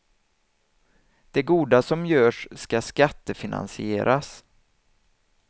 Det goda som görs ska skattefinansieras.